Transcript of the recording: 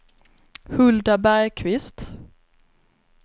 Hulda Bergqvist